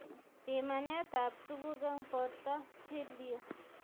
Pimanet ap tuguk eng borto, chill yu